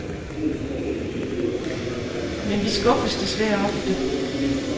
Men vi skuffes desværre ofte.